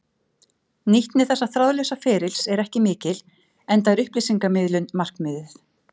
Nýtni þessa þráðlausa ferlis er ekki mikil enda er upplýsingamiðlun markmiðið.